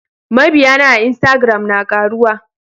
Mabiyana a instagram na karuwa.